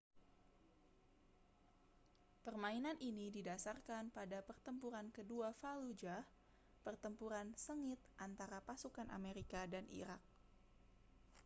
permainan ini didasarkan pada pertempuran kedua fallujah pertempuran sengit antara pasukan amerika dan irak